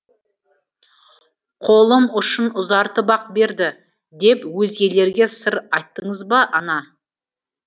қолым ұшын ұзартып ақ берді деп өзгелерге сыр айттыңыз ба ана